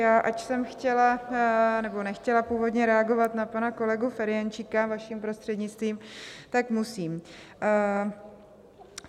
Já, ač jsem chtěla nebo nechtěla původně reagovat na pana kolegu Ferjenčíka, vaším prostřednictvím, tak musím.